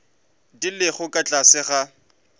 di lego ka tlase ga